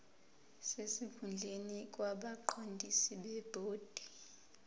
sesikhundleni kwabaqondisi bebhodi